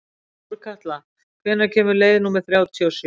Þórkatla, hvenær kemur leið númer þrjátíu og sjö?